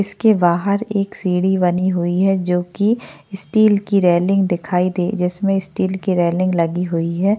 इसके बाहर एक सीढ़ी बनी हुई है जो की स्टील की रेलिंग दिखाई दे जिसमें स्टील की रेलिंग लगी हुई है।